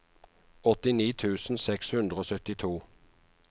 åttini tusen seks hundre og syttito